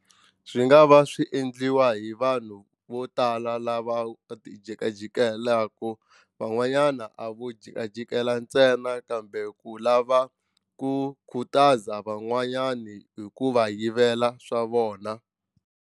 Swi nga va swi endliwa hi vanhu vo tala lava ti jikajikelaka van'wanyana a vo jikajikela ntsena kambe ku lava ku khutaza van'wanyani hi ku va yivela swa vona.